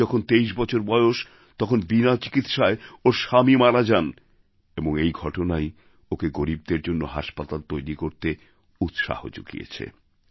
ওঁর যখন ২৩ বছর বয়স তখন বিনা চিকিৎসায় ওঁর স্বামী মারা যান এবং এই ঘটনাই ওঁকে গরীবদের জন্য হাসপাতাল তৈরি করতে উৎসাহ জুগিয়েছে